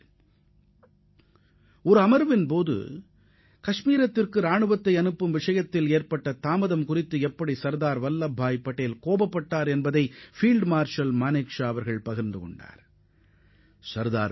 அப்போது நடைபெற்ற கூட்டம் ஒன்றில் காஷ்மீருக்கு படைகளை அனுப்புவதில் ஏற்பட்ட தாமதத்திற்காக சர்தார் வல்லபாய் பட்டேல் எவ்வாறு கடிந்து கொண்டார் என்பதை ஃபீல்டு மார்ஷல் மானெக்ஷா குறிப்பிட்டுள்ளார்